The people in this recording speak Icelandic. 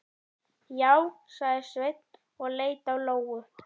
Já, sagði Sveinn og leit á Lóu.